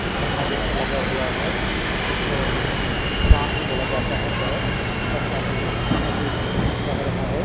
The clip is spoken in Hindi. झरना जैसा लगा हुआ है इसको बांध भी बोला जाता है शायद और पानी बहुत अधिक बह रहा है।